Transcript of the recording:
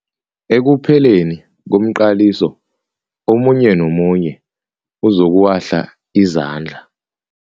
Ekupheleni komqaliso omunye nomunye uzokuwahla izandla.